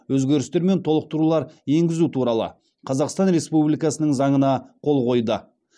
өзгерістер мен толықтырулар енгізу туралы қазақстан республикасының заңына қол қойды